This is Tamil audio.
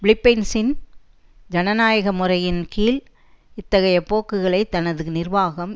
பிலிப்பைன்சின் ஜனநாயக முறையின் கீழ் இத்தகைய போக்குகளைத் தனது நிர்வாகம்